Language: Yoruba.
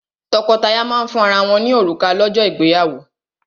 Tọ́kọtaya máa ń fún ara wọ́n ní òrùka lọ́jọ́ ìgbéyàwó.